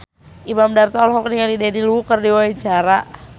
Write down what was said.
Imam Darto olohok ningali Daniel Wu keur diwawancara